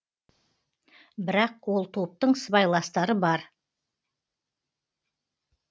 бірақ ол топтың сыбайластары бар